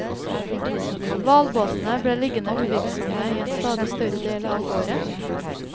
Hvalbåtene ble liggende uvirksomme i en stadig større del av året.